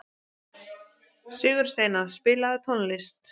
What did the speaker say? Sigursteina, spilaðu tónlist.